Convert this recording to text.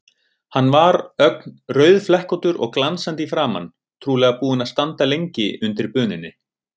Hann var ögn rauðflekkóttur og glansandi í framan, trúlega búinn að standa lengi undir bununni.